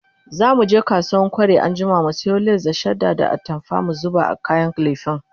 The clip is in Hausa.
zamuje kasuwan kwari anjima mu sayo lace da shadda da atamfa mu zuba a kayan lefen